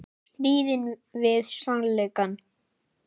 Stríðinu við sannleikann